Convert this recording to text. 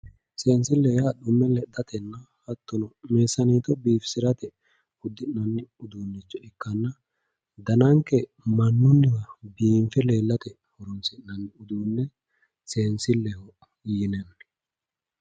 seensilleho yaa xumme lexxatenna hattonno meessaneete biifisirate uddi'noonni uduunnicho ikkanna danannkeno mannunni roore biinfe leellate uddi'nanni uduunne biinfilleho yinanni